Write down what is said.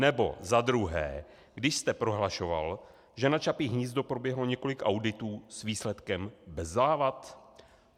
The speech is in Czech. Nebo za druhé, když jste prohlašoval, že na Čapí hnízdo proběhlo několik auditů s výsledkem bez závad?